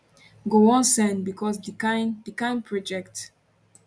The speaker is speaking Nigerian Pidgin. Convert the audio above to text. go wan send becos di kain di kain projects